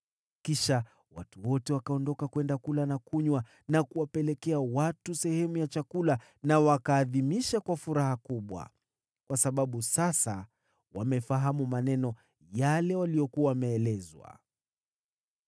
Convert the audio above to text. Kisha watu wote wakaondoka kwenda kula na kunywa, na kupeana sehemu ya chakula, na wakaadhimisha kwa furaha kubwa, kwa sababu sasa walifahamu maneno yale waliyokuwa wameelezwa.